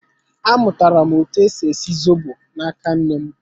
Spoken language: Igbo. Amụtara m etu esi esi zobo na-aka nnem